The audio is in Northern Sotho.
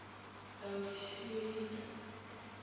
laodiša e be e le